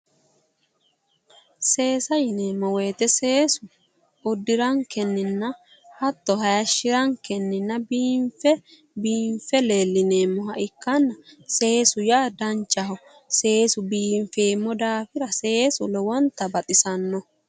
seesa yineemmowoyite seesu uddirankenninna hatto hayishshirankenninna biinfe biinfe leellineemmoha ikkanna seesu yaa danchaho seesu biinfeemmo daafira seesu lowonta baxisanno.